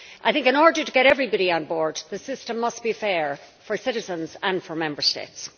I think in order to get everybody on board, the system must be fair for citizens and for Member States.